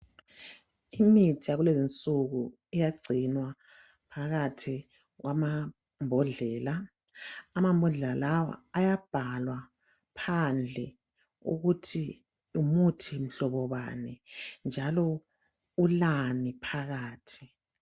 Imithi yakulezi nsuku iyagcinwa phakathi kwamambhodlela amambodlela lawa ayabhalwa phandle ukuthi ngumuthi mhlobobani njalo ulani phakathi.